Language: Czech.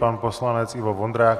Pan poslanec Ivo Vondrák.